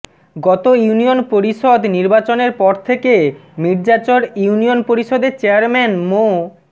গত ইউনিয়ন পরিষদ নির্বাচনের পর থেকে মির্জাচর ইউনিয়ন পরিষদের চেয়ারম্যান মো